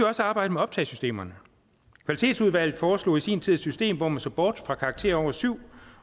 også arbejde med optagesystemerne kvalitetsudvalget foreslog i sin tid et system hvor man så bort fra karakterer over syv